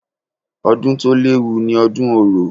Ọdún to léwu ni ọdún orò.